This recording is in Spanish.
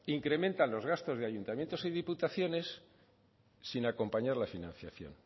incrementan los gastos de ayuntamientos y diputaciones sin acompañar la financiación